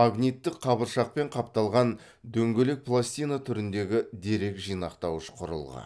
магниттік қабыршақпен қапталған дөңгелек пластина түріндегі дерек жинақтауыш құрылғы